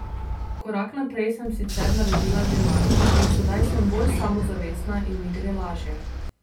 Korak naprej sem sicer naredila že lani in sedaj sem bolj samozavestna in mi gre lažje.